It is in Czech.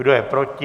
Kdo je proti?